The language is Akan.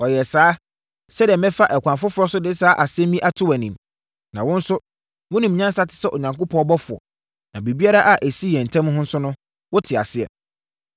Ɔyɛɛ saa, sɛdeɛ mɛfa ɛkwan foforɔ so de saa asɛm yi ato wʼanim. Na wo nso, wonim nyansa te sɛ Onyankopɔn ɔbɔfoɔ, na biribiara a ɛsi yɛn ntam ha no nso, wote aseɛ.”